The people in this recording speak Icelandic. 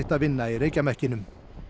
að vinna í reykjarmekkinum